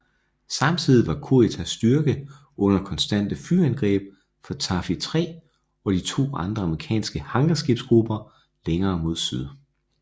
Samtidig var Kuritas styrke under konstante flyangreb fra Taffy 3 og de to andre amerikanske hangarskibsgrupper længere mod syd